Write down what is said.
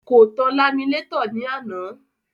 Kò tan laminétọ̀ lánàá.